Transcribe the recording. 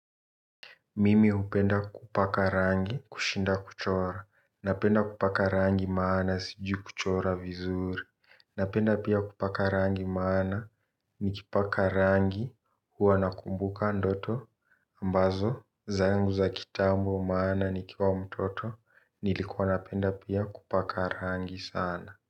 Mimi hupenda kupaka rangi kushinda kuchora. Napenda kupaka rangi maana sijui kuchora vizuri. Napenda pia kupaka rangi maana nikipaka rangi huwa nakumbuka ndoto. Ambazo zangu za kitambo maana nikiwa mtoto nilikuwa napenda pia kupaka rangi sana.